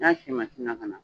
N ya si na ka na.